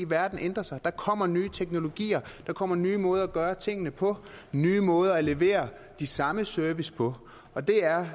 verden ændrer sig der kommer nye teknologier der kommer nye måder at gøre tingene på nye måder at levere de samme services på og det er